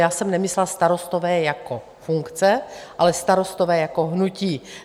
Já jsem nemyslela starostové jako funkce, ale Starostové jako hnutí.